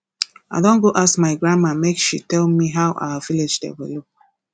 i don go ask my grandma make she tell me how our village develop